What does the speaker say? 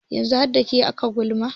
yanzu har da ke ake gulma